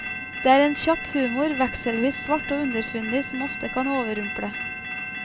Det er en kjapp humor, vekselvis svart og underfundig, som ofte kan overrumple.